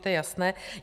To je jasné.